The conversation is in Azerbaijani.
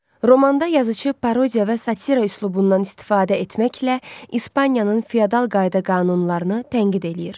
Romanda yazıcı parodiya və satira üslubundan istifadə etməklə İspaniyanın feodal qayda-qanunlarını tənqid eləyir.